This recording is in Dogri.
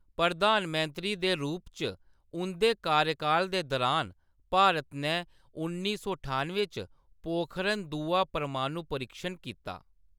प्रधान मंत्री दे रूप च उंʼदे कार्यकाल दे दरान, भारत नै उन्नी सौ ठानुएं च पोखरण-दूआ परमाणु परीक्षण कीता।